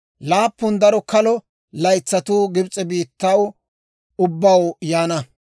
Laappun daro kalo laytsatuu Gibs'e biittaw ubbaw yaana;